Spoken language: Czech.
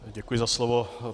Děkuji za slovo.